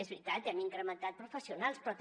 és veritat hem incrementat professionals però també